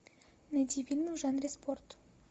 найди фильмы в жанре спорт